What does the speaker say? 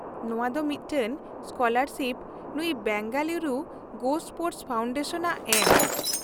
ᱼᱱᱚᱶᱟ ᱫᱚ ᱢᱤᱫᱴᱟᱝ ᱥᱠᱚᱞᱟᱨᱥᱤᱯ ᱱᱩᱭ ᱵᱮᱝᱜᱟᱞᱩᱨᱩ ᱜᱳᱥᱯᱳᱨᱴᱥ ᱯᱷᱟᱣᱩᱱᱰᱮᱥᱚᱱᱼᱟᱜ ᱮᱢ ᱾